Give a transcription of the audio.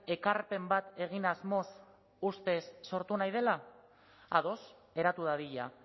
ekarpen bat egin asmoz ustez sortu nahi dela ados eratu dadila